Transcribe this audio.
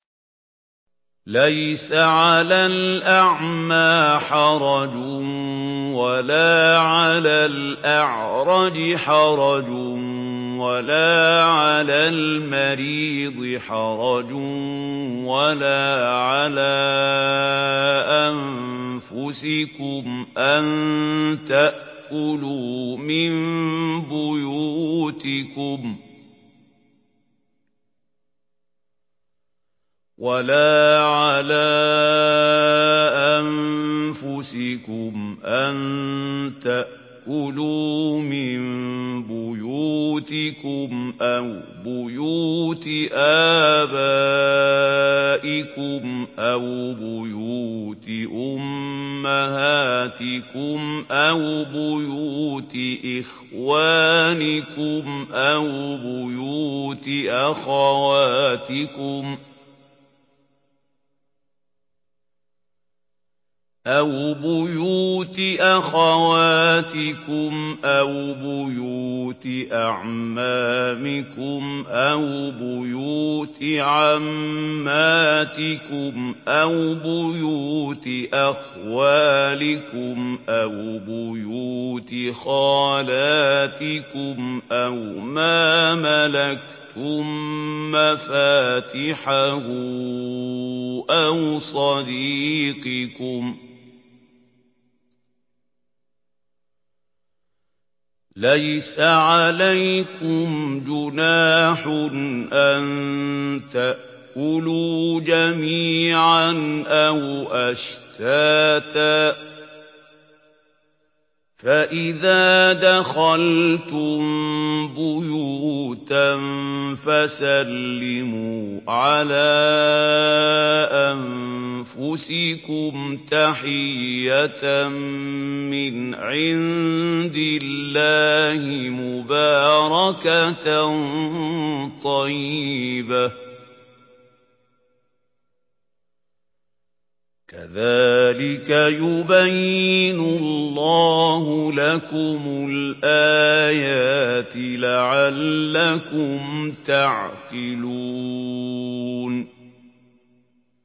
لَّيْسَ عَلَى الْأَعْمَىٰ حَرَجٌ وَلَا عَلَى الْأَعْرَجِ حَرَجٌ وَلَا عَلَى الْمَرِيضِ حَرَجٌ وَلَا عَلَىٰ أَنفُسِكُمْ أَن تَأْكُلُوا مِن بُيُوتِكُمْ أَوْ بُيُوتِ آبَائِكُمْ أَوْ بُيُوتِ أُمَّهَاتِكُمْ أَوْ بُيُوتِ إِخْوَانِكُمْ أَوْ بُيُوتِ أَخَوَاتِكُمْ أَوْ بُيُوتِ أَعْمَامِكُمْ أَوْ بُيُوتِ عَمَّاتِكُمْ أَوْ بُيُوتِ أَخْوَالِكُمْ أَوْ بُيُوتِ خَالَاتِكُمْ أَوْ مَا مَلَكْتُم مَّفَاتِحَهُ أَوْ صَدِيقِكُمْ ۚ لَيْسَ عَلَيْكُمْ جُنَاحٌ أَن تَأْكُلُوا جَمِيعًا أَوْ أَشْتَاتًا ۚ فَإِذَا دَخَلْتُم بُيُوتًا فَسَلِّمُوا عَلَىٰ أَنفُسِكُمْ تَحِيَّةً مِّنْ عِندِ اللَّهِ مُبَارَكَةً طَيِّبَةً ۚ كَذَٰلِكَ يُبَيِّنُ اللَّهُ لَكُمُ الْآيَاتِ لَعَلَّكُمْ تَعْقِلُونَ